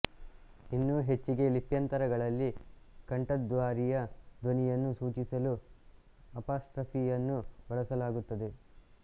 ಇನ್ನೂ ಹೆಚ್ಚಿಗೆ ಲಿಪ್ಯಂತರಗಳಲ್ಲಿ ಕಂಠದ್ವಾರೀಯ ಧ್ವನಿಯನ್ನು ಸೂಚಿಸಲು ಅಪಾಸ್ಟ್ರಫಿಯನ್ನು ಬಳಸಲಾಗುತ್ತದೆ